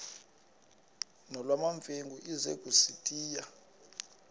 nolwamamfengu ize kusitiya